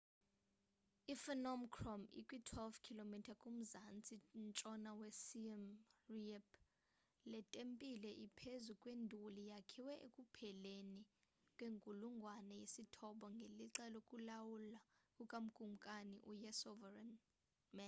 i-phnom krom ikwi-12 km kumzantsi-ntshona we siem reap le tempile ephezu kwenduli yakhiwa ekupheleni kwenkulungwane yesithoba ngelixa lokulawula kuka kumkani u-yasovarman